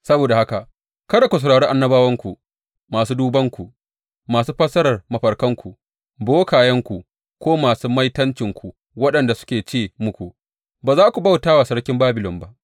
Saboda haka kada ku saurari annabawanku, masu dubanku, masu fassarar mafarkanku, bokayenku ko masu maitancinku waɗanda suke ce muku, Ba za ku bauta wa sarkin Babilon ba.’